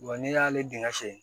Wa n'i y'ale dingɛ sen